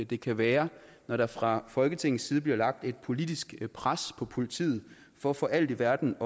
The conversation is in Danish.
det kan være når der fra folketingets side bliver lagt et politisk pres på politiet for for alt i verden